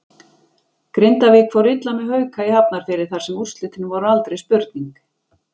Grindavík fór illa með Hauka í Hafnarfirði þar sem úrslitin voru aldrei spurning.